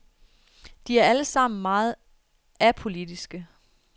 De er alle sammen meget apolitiske.